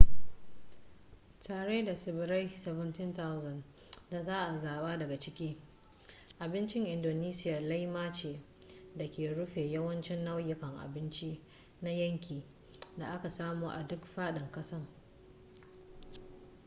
tare da tsibirai 17,000 da za a zaɓa daga ciki abincin indonesiya laima ce da ke rufe yawancin nau'ikan abinci na yanki da aka samo a duk faɗin ƙasar